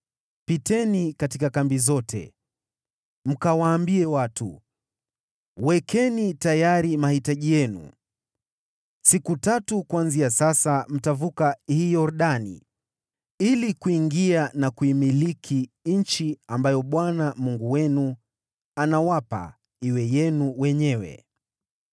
“Pitieni katika kambi yote mkawaambie watu, ‘Wekeni tayari mahitaji yenu. Siku tatu kuanzia sasa mtavuka hii Yordani ili kuingia na kuimiliki nchi ambayo Bwana Mungu wenu anawapa iwe yenu wenyewe.’ ”